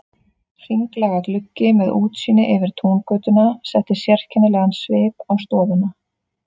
Hringlaga gluggi með útsýni yfir Túngötuna setti sérkennilegan svip á stofuna.